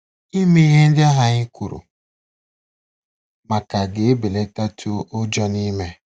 Ime ihe ndị ahụ anyị kwuru maka ga-ebelatatụ ụjọ n'ime